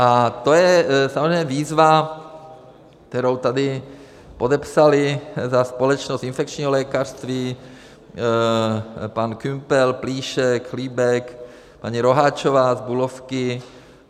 A to je samozřejmě výzva, kterou tady podepsali za Společnost infekčního lékařství pan Kümpel, Plíšek, Chlíbek, paní Roháčová z Bulovky.